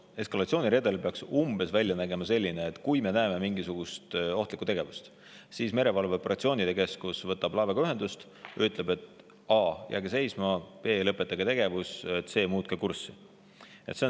Eskalatsiooniredel peaks välja nägema umbes selline, et kui me näeme mingisugust ohtlikku tegevust, siis merevalveoperatsioonide keskus võtab laevaga ühendust ja ütleb kas a) jääge seisma, b) lõpetage tegevus või c) muutke kurssi.